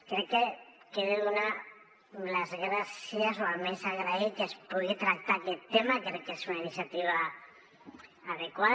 crec que he de donar les gràcies o almenys agrair que es pugui tractar aquest tema crec que és una iniciativa adequada